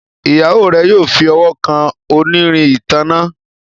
Ìyàwó rẹ yóò fí ọwọ kàn onírin ìtanná.